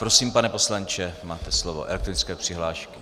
Prosím, pane poslanče, máte slovo - elektronické přihlášky.